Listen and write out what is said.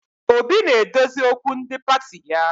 Obi na-edozi okwu ndi pati ya